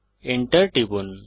Enter টিপুন